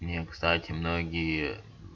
мне кстати многие